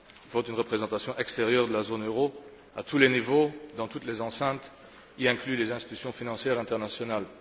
Il faut une représentation extérieure de la zone euro à tous les niveaux, dans toutes les enceintes, y compris les institutions financières internationales.